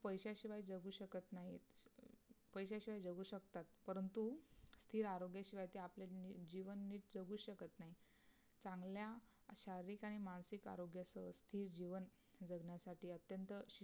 पैशाशिवाय जगू शकत नाही पैशाशिवाय जगू शकतात परंतु स्थिर आरोग्याशिवाय ते आपने जीवन नीट जगू शकत नाही. चांगल्या शारीरिक आणि मानसिक आरोग्य सहज ते जीवन जगण्यासाठी अतंत्य